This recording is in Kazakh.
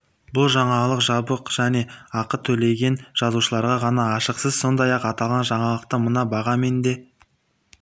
бұл жаңалық жабық және ақы төлеген жазылушыларға ғана ашық сіз сондай-ақ аталған жаңалықты мына бағамен де